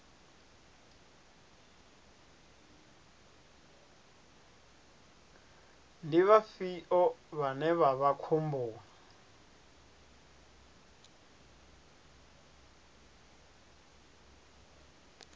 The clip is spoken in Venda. ndi vhafhio vhane vha vha khomboni